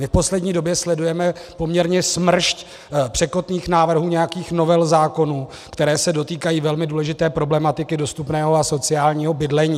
My v poslední době sledujeme poměrně smršť překotných návrhů, nějakých novel zákonů, které se dotýkají velmi důležité problematiky dostupného a sociálního bydlení.